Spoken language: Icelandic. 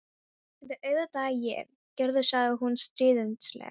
Þetta er auðvitað ég, Gerður, sagði hún stríðnislega.